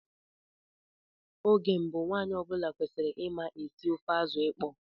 Oge mbụ, nwanyị ọ bụla kwesịrị ịma esi ofe azụ ịkpọ.